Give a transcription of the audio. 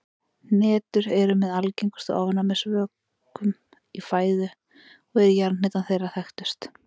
Hnetur eru með algengustu ofnæmisvökum í fæðu og er jarðhnetan þeirra þekktust.